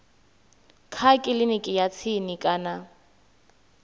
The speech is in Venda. kha kiliniki ya tsini kana